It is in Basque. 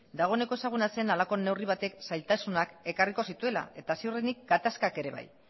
dagoeneko ezaguna zen halako neurri batek zailtasunak ekarriko zituela eta ziurrenik gatazkak ere bai